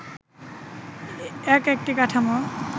এক একটি কাঠামো